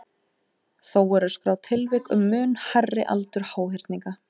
Þó eru skráð tilvik um mun hærri aldur háhyrninga.